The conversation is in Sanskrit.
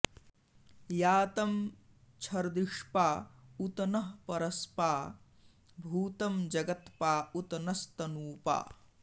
यातं छर्दिष्पा उत नः परस्पा भूतं जगत्पा उत नस्तनूपा